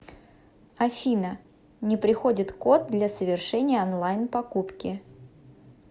афина не приходит код для совершения онлайн покупки